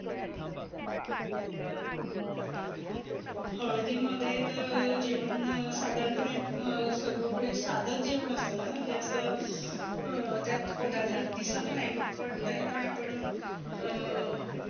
हळदीमध्ये तर अं जेवण साधारण पणे अं सगळीकडे साधच जेवण असत ना. जास्त अं त्यात पदार्थ दिसत नाहीत. पण तरी पण आपण अं